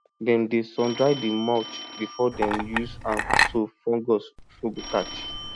dem dey sundry the mulch before dem use am so fungus no go catch